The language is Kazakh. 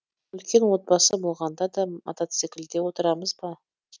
үлкен отбасы болғанда да мотоциклде отырамыз ба